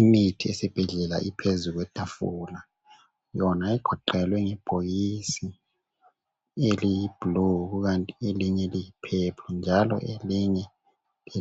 Imithi esibhedlela iphezu kwetafula yona igoqelwe ngebhokisi eliyiblue kukanti elinye liyi purple njalo elinye